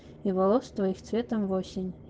и волос твоих цветом в осень